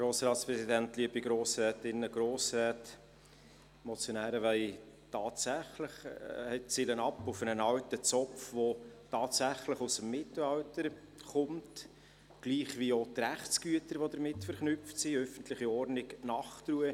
Die Motionäre zielen tatsächlich auf einen alten Zopf ab, der tatsächlich aus dem Mittelalter kommt, gleich wie auch die Rechtsgüter, die damit verknüpft sind: öffentliche Ordnung und Nachtruhe.